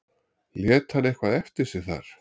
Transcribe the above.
Lét hann eitthvað eftir sig þar?